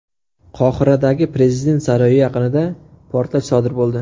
Qohiradagi prezident saroyi yaqinida portlash sodir bo‘ldi.